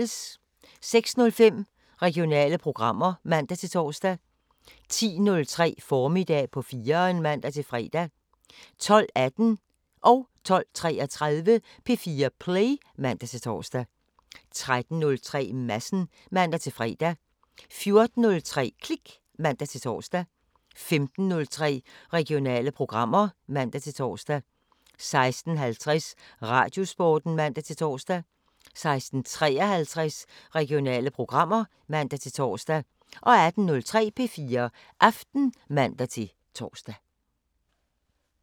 06:05: Regionale programmer (man-tor) 10:03: Formiddag på 4'eren (man-fre) 12:18: P4 Play (man-tor) 12:33: P4 Play (man-tor) 13:03: Madsen (man-fre) 14:03: Klik (man-tor) 15:03: Regionale programmer (man-tor) 16:50: Radiosporten (man-tor) 16:53: Regionale programmer (man-tor) 18:03: P4 Aften (man-tor)